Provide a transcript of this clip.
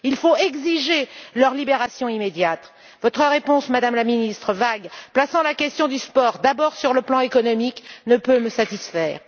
Il faut exiger leur libération immédiate. Votre réponse, Madame la Ministre, qui place la question du sport d'abord sur le plan économique, est vague et ne peut me satisfaire.